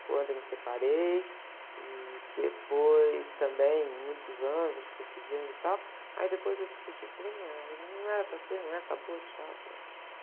quando eu me separei, e depois também, muitos anos, a gente ficou se vendo e tal, aí depois eu discuti, falei, não é, não era para ser, não é, acabou, tchau, pronto.